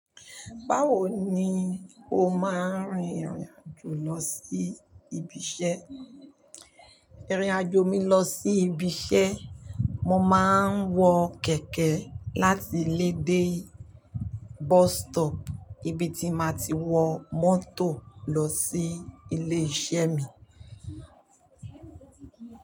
Báwo ni o máa ń rìnirìn-àjò lọ sí ibi iṣẹ́? Irin-àjò mi lọ sí ibi iṣẹ́, mo máa ń wọ kẹ̀kẹ́ láti ilé de bus stop ibi tí màá ti wọ mọ́tò lọ sí ilé iṣẹ́ mi.